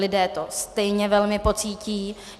Lidé to stejně velmi pocítí.